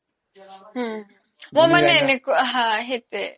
অ মো মানে এনেকুৱা হা সেইতোয়ে